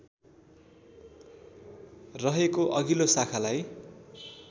रहेको अघिल्लो शाखालाई